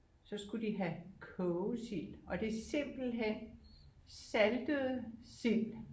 Så skulle de have kogesild og det er simpelthen saltede sild